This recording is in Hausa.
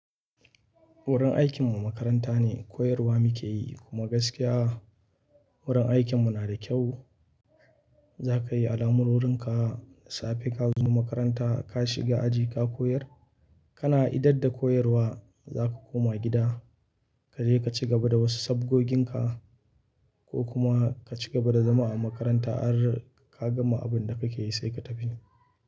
Wurin aikinmu makaranta ne, koyarwa muke yi kuma gaskiya wurin aikinmu na da kyau. Za ka yi alamurorin ka safe ka zo makaranta, ka shiga aji ka koyar. Kana idadda koyarwa za ka koma gida, ka je ka ci gaba da wasu sabgogin ka ko kuma ka cigaba da zama a makaranta har ka gama abin da kake yi sai ka tafi.